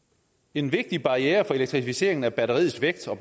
en vigtig barriere for elektrificeringen er batteriets vægt og